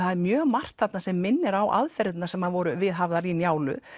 það er mjög margt þarna sem minnir á aðferðirnar sem voru viðhafðar í Njálu